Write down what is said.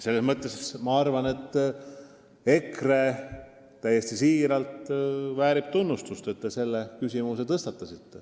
Selles mõtte ma arvan täiesti siiralt, et EKRE fraktsioon väärib tunnustust, et ta selle küsimuse tõstatas.